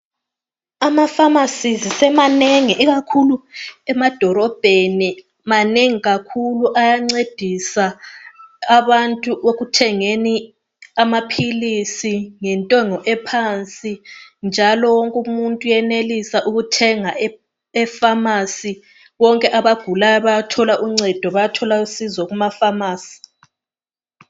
Amafamasi semanengi kakhulu ikakhulu emadolobheni. Ayancedisa abantu ekuthengeni amaphilisi ngentengo ephansi. Bonke abagulayo bayathenga amaphilisi emafamasi.